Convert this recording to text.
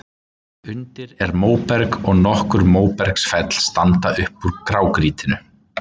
Undir er móberg, og nokkur móbergsfell standa upp úr grágrýtinu.